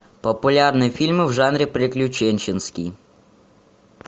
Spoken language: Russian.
популярные фильмы в жанре приключенческий